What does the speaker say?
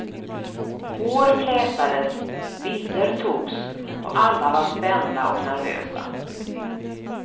Hår flätades, bilder togs, och alla var spända och nervösa.